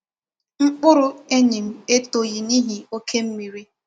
Mkpụrụ enyi m etoghị n'ihi oke mmiri.